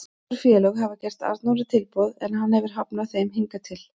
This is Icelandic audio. Nokkur félög hafa gert Arnóri tilboð en hann hefur hafnað þeim hingað til.